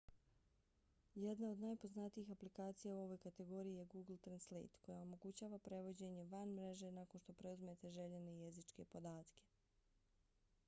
jedna od najpoznatijih aplikacija u ovoj kategoriji je google translate koja omogućava prevođenje van mreže nakon što preuzmete željene jezičke podatke